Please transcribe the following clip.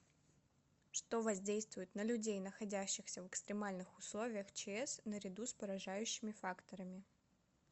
что воздействует на людей находящихся в экстремальных условиях чс наряду с поражающими факторами